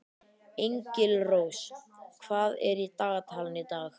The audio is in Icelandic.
Engilrós, hvað er í dagatalinu í dag?